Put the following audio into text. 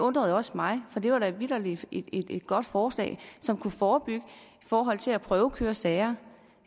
undrede også mig for det var da vitterlig et godt forslag som kunne forebygge i forhold til at prøvekøre sager